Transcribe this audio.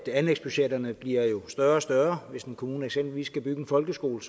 anlægsbudgetterne jo bliver større og større hvis en kommune eksempelvis skal bygge en folkeskole